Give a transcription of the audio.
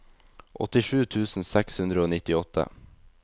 åttisju tusen seks hundre og nittiåtte